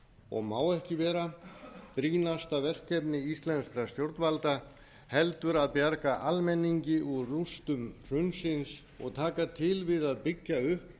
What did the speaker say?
og má ekki vera brýnasta verkefni íslenskra stjórnvalda heldur að bjarga almenningi úr rústum hrunsins og taka til við að byggja upp